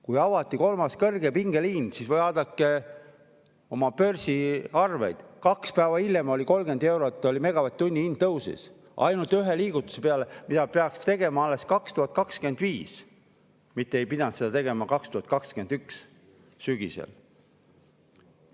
Kui avati kolmas kõrgepingeliin, siis – vaadake oma börsiarveid – kaks päeva hiljem 30 eurot megavatt-tunni hind tõusis, ainult ühe liigutuse peale, mida pidanuks tegema alles 2025. aastal, mitte ei pidanud tegema 2021. aasta sügisel.